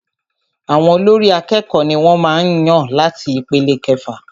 Àwọn olórí àkẹ́kọ̀ọ ní wọ́n màá n yàn láti ipele ìkẹfà.